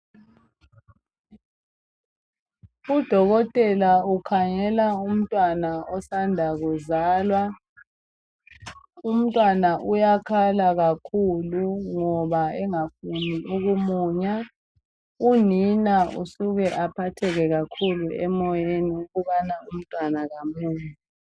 Udokotela ukhangela umntwana osanda kuzalwa. Umntwana uyakhala kakhulu ngoba engafuni ukumunya. Unina usuke aphatheke kakhulu emoyeni ukubana umntwana kamunyi.